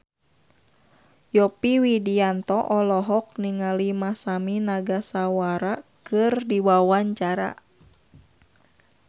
Yovie Widianto olohok ningali Masami Nagasawa keur diwawancara